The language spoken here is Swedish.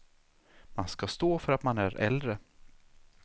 Man ska stå för att man är äldre.